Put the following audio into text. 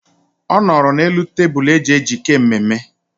Ọ nọrọ n'elu tebụl eji ejike mmemme.